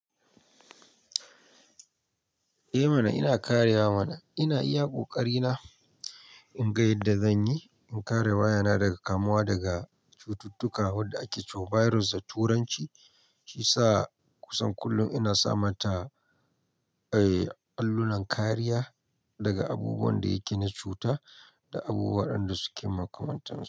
Eh mana ina karewa mana, ina iya kokari na in ga yadda zan yi in kare wayana daga kamuwa daga cututtuka wadda ake ce wa "virus" da turanci, shi sa kusan kullum ina sama ta, eh, allunan kariya daga abubuwan da yake na cuta da abubuwan da suke makamantan su.